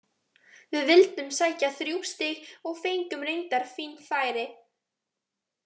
Við vildum sækja þrjú stig og fengum reyndar fín færi.